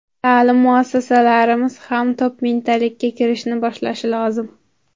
Ta’lim muassasalarimiz ham top mingtalikka kirishni boshlashi lozim.